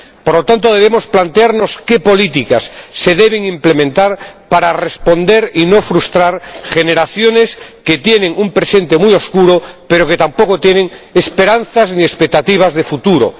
Por lo tanto, debemos plantearnos qué políticas se deben implementar para responder y no frustrar a generaciones que tienen un presente muy oscuro, pero que tampoco tienen esperanzas ni expectativas de futuro.